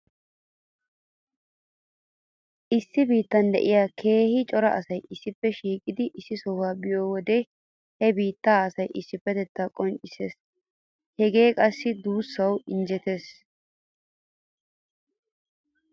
Issi biitan diya keehi cora asay issippe shiiqidi issi soha biyo wode he biittaa asaa issippetettay qonccees. Hegee qassi duussawu injjetees.